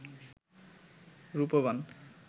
Rupban